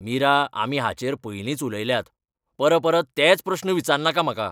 मीरा, आमी हाचेर पयलींच उलयल्यात! परपरत तेच प्रस्न विचारनाका म्हाका.